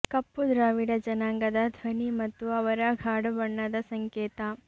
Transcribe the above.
ಕಪ್ಪು ದ್ರಾವಿಡ ಜನಾಂಗದ ಧ್ವನಿ ಮತ್ತು ಅವರ ಗಾಢ ಬಣ್ಣದ ಸಂಕೇತ